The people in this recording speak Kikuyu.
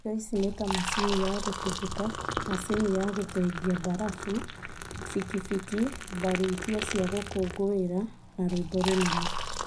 indo ici nĩta macini cia gũtũgũta, macini ya gũthengia mbarabu, bikibiki, mbarutia cia gũkũngũĩra, na rwĩmbo rũnene